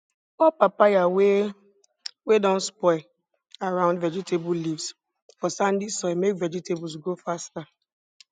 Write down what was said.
pour papaya whey wey don spoil around vegetable leaves for sandy soil make vegetables grow faster